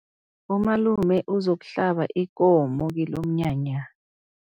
Umalume uzokuhlaba ikomo kilomnyanya.